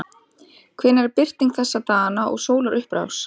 hvenær er birting þessa dagana og sólarupprás